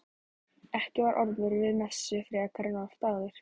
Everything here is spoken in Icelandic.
Ekki var Ormur við messu frekar en oft áður.